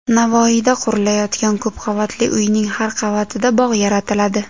Navoiyda qurilayotgan ko‘p qavatli uyning har qavatida bog‘ yaratiladi.